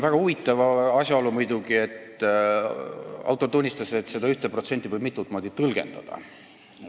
Väga huvitav on muidugi asjaolu, et autor tunnistas, et seda 1% võib mitut moodi tõlgendada.